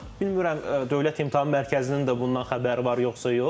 Bilmirəm Dövlət İmtahan Mərkəzinin də bundan xəbəri var, yoxsa yox.